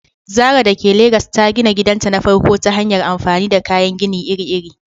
Zarah dake Legas ta gina gidanta na farko ta hanyar amfani da kayan gini iri-iri.